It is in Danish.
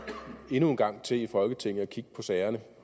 endnu en gang til i folketinget at kigge på sagerne